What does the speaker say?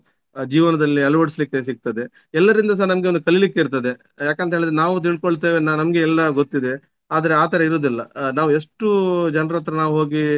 ಆ ಜೀವನದಲ್ಲಿ ಅಳವಡಿಸಲಿಕ್ಕೆ ಸಿಗ್ತದೆ. ಎಲ್ಲರಿಂದ ಸ ನಮ್ಗೆ ಒಂದು ಕಲಿಲಿಕ್ಕೆ ಇರ್ತದೆ. ಯಾಕಂತ ಹೇಳಿದ್ರೆ ನಾವು ತಿಳ್ಕೊಳ್ತೇವೆ ನಮ್ಗೆ ಎಲ್ಲ ಗೊತ್ತಿದೆ ಆದ್ರೆ ಆ ತರ ಇರುದಿಲ್ಲ ಆ ನಾವು ಎಷ್ಟು ಜನರ ಹತ್ರ ನಾವು ಹೋಗಿ